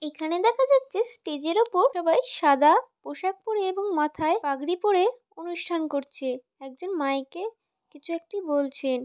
এখানে দেখা যাচ্ছে স্টেজের উপর সবাই সাদা পোশাক পড়ে এবং মাথায় পাগড়ি পড়ে অনুষ্ঠান করছে। একজন মাইকে কিছু একটি বলছেন।